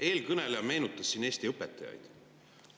Eelkõneleja meenutas siin Eesti õpetajaid.